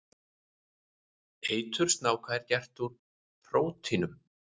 Eitur snáka er gert úr prótínum.